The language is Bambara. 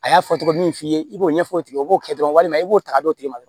A y'a fɔ tɔgɔ min min f'i ye i b'o ɲɛfɔ o tigi ye o b'o kɛ dɔrɔn walima i b'o ta ka d'o tigi ma